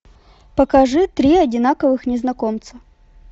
покажи три одинаковых незнакомца